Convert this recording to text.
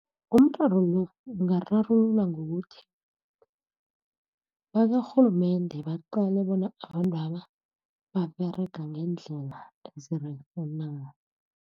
Umraro lo, ungararululwa ngokuthi bakwarhulumende baqale bona abantwaba baberega ngeendlela ezirerhe na.